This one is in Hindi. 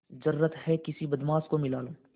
जरुरत हैं किसी बदमाश को मिला लूँ